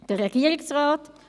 Der Regierungsrat?